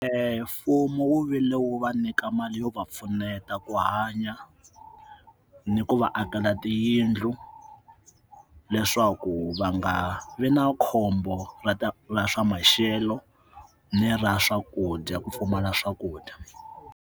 mfumo wu vile wu va nyika mali yo va pfuneta ku hanya ni ku va akela tiyindlu leswaku va nga vi na khombo ra ta ra swa maxelo ni ra swakudya ku pfumala swakudya.